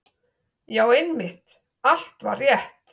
Já, einmitt, allt var rétt.